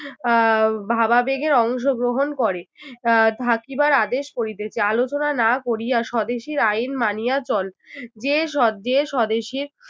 আহ ভাবাবেগের অংশগ্রহণ করে আহ থাকিবার আদেশ করিতেছি আলোচনা না করিয়া স্বদেশীর আইন মানিয়া চল্ যে সদ~ যে স্বদেশীর